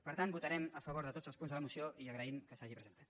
per tant votarem a favor de tots els punts de la moció i agraïm que s’hagi presentat